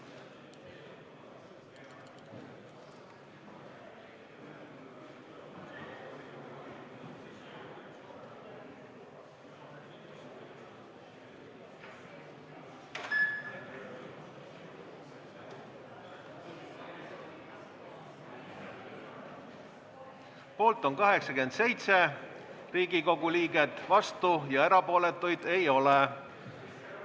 Hääletustulemused Poolt on 87 Riigikogu liiget, vastuolijaid ja erapooletuid ei ole.